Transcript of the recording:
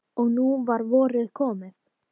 Og nú var vorið komið.